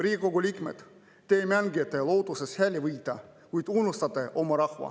Riigikogu liikmed, te mängite, lootuses hääli võita, kuid unustate oma rahva.